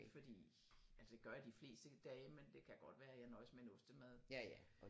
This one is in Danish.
Fordi altså det gør jeg de fleste dage men det kan godt være jeg nøjes med en ostemad